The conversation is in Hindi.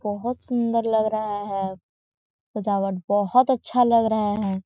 बोहत सुन्दर लग रहा है सजावट बोहत अच्छा लग रहा है।